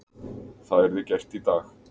Það yrði gert í dag.